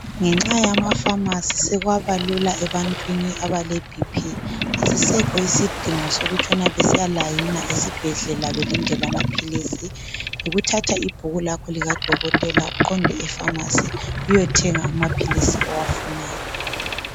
Ngenxa yamafamasi sekwabalula ebantwini abale bp asisekho isidingo sokutshona besiya layina ezibhedlela belindela amaphilisi yikuthatha ibhuku lakho likadokotela uqonde efamasi uyothenga amaphilisi owafunayo